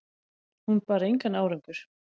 Hún bar engan árangur